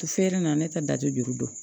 Feere na ne tɛ da tɛ juru dɔn